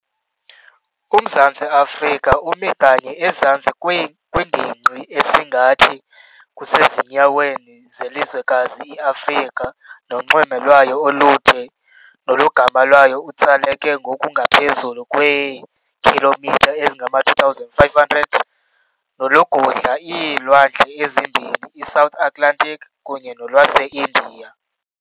Umzantsi Afrika umi kanye ezantsi kwingingqi esingathi kusezinyaweni zelizwekazi i-Afrika, nonxweme lwayo olude nolugama walo utsaleke ngokungaphezulu kweekhilomitha ezingama-2,500 nolugudla iilwandle ezimbini, i-South Atlantic kunye nolwase-India,